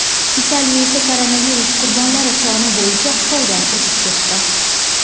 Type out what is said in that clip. Italiya esa koronavirus qurbonlari soni bo‘yicha Xitoydan o‘zib ketdi.